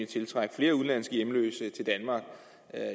tiltrække flere udenlandske hjemløse til danmark